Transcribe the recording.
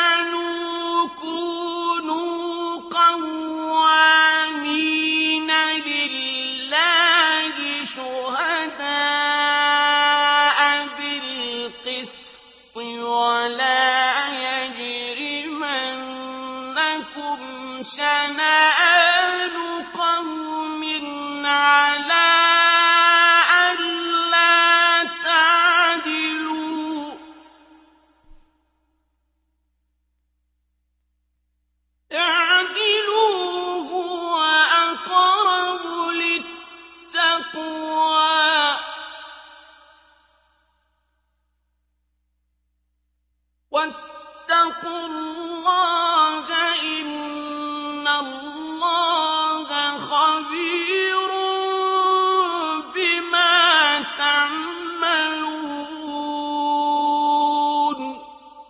آمَنُوا كُونُوا قَوَّامِينَ لِلَّهِ شُهَدَاءَ بِالْقِسْطِ ۖ وَلَا يَجْرِمَنَّكُمْ شَنَآنُ قَوْمٍ عَلَىٰ أَلَّا تَعْدِلُوا ۚ اعْدِلُوا هُوَ أَقْرَبُ لِلتَّقْوَىٰ ۖ وَاتَّقُوا اللَّهَ ۚ إِنَّ اللَّهَ خَبِيرٌ بِمَا تَعْمَلُونَ